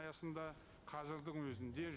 аясында қазірдің өзінде